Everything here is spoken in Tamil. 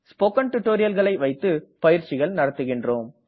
ஸ்போக்கன் tutorialகளை வைத்து பயிற்சிகள் நடத்துகின்றோம்